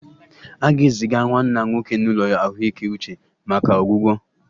A ga-eziga nwanna nwoke n'ụlọ ahụike uche maka ọgwụgwọ?